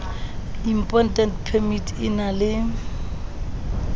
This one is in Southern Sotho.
import permit e na le